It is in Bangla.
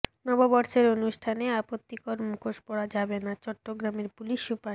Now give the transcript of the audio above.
নববর্ষের অনুষ্ঠানে আপত্তিকর মুখোশ পরা যাবে না চট্টগ্রামের পুলিশ সুপার